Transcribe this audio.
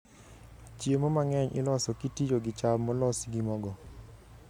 Chiemo mang'eny iloso kitiyo gi cham molos gi mogo.